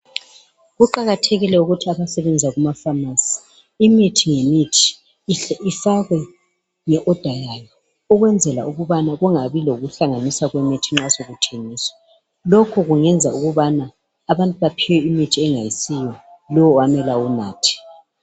Kuqakathekile ukuthi abasebenza kuma pharmacy imithi ngemithi ifakwe nge order yayo ukwenzela ukubana kungabi lokuhlanganiswa kwemithi nxa sokuthengiswa. Lokhu kungenza ukubana abantu baphiwe imithi engasiyo lowu amele awunathe.